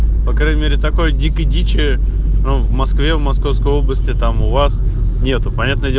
по крайней мере такой дикой дичи в москве в московской области там у вас нету понятное дело